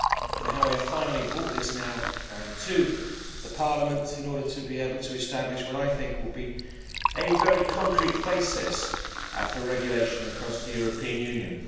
and how we have finally brought this now to Parliament in order to be able to establish what I think will be a very concrete basis for regulation across the European Union.